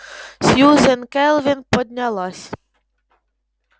сьюзен кэлвин поднялась